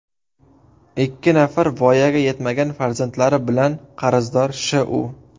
ikki nafar voyaga yetmagan farzandlari bilan, qarzdor Sh.U.